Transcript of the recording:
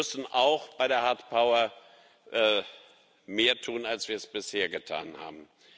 Wir müssen auch bei der hard power mehr tun, als wir bisher getan haben.